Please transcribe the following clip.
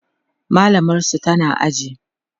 mallamar su tana aji